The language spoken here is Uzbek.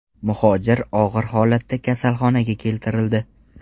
Muhojir og‘ir holatda kasalxonaga keltirildi.